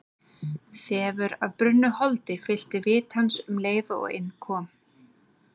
Þefur af brunnu holdi fyllti vit hans um leið og inn kom.